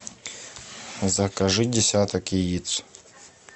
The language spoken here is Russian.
закажи десяток яиц